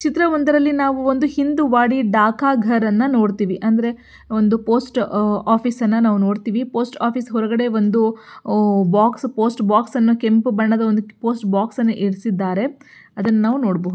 ಚಿತ್ರ ಒಂದರಲ್ಲಿ ನಾವು ಒಂದು ಹಿಂದೂವಾದಿ ಡಕಾಗರ್ ಅನ್ನು ನೋಡುತೀವಿ ಅಂದ್ರೆ ಒಂದು ಪೋಸ್ಟ್ ಆಫೀಸ್ ಅನ್ನು ನಾವು ನೋಡ್ತಿವಿ. ಪೋಸ್ಟ್ ಆಫೀಸ್ ಒಲ್ಗಡೆ ಒಂದು ಬಾಕ್ಸ್ ಪೋಸ್ಟ್ ಬಾಕ್ಸ್ ಅನ್ನು ಕೆಂಪು ಬಣ್ಣದ ಒಂದು ಪೋಸ್ಟ್ ಬಾಕ್ಸ್ ಅನ್ನ ಇರೀಸಿದ್ದಾರೆ. ಅದನ್ನ ನಾವು ನೋಡಬಹುದು.